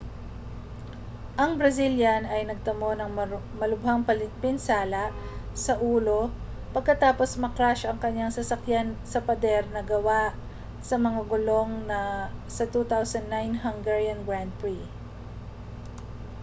ang brazilian ay nagtamo ng malubhang pinsala sa ulo pagkatapos ma-crash ang kaniyang sasakyan sa pader na gawa sa mga gulong sa 2009 hungarian grand prix